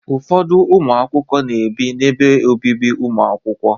Ụfọdụ ụmụ akwụkwọ na-ebi n'ebe obibi ụmụ akwụkwọ.